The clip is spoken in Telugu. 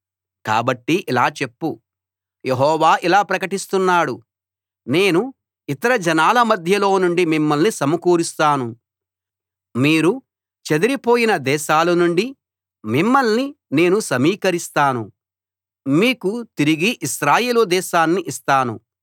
కాబట్టి ఇలా చెప్పు యెహోవా ఇలా ప్రకటిస్తున్నాడు నేను ఇతర జనాల మధ్యలో నుండి మిమ్మల్ని సమకూరుస్తాను మీరు చెదిరిపోయిన దేశాలనుండి మిమ్మల్ని నేను సమీకరిస్తాను మీకు తిరిగి ఇశ్రాయేలు దేశాన్ని ఇస్తాను